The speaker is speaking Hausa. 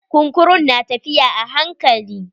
Kunkurun na tafiya a hankali.